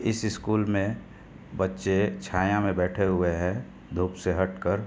इस ईस्कूल में बच्चे छाया में बैठे हुए है धुप से हटकर।